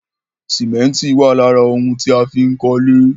Sìmẹ́ntì wà lára òun tí a fín kólé